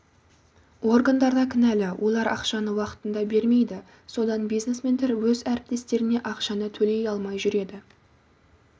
органдар да кінәлі олар ақшаны уақытында бермейді содан бизнесмендер өз әріптестеріне ақшаны төлей алмай жүреді